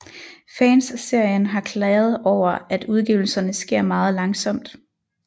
Fans af serien har klaget over at udgivelserne sker meget langsomt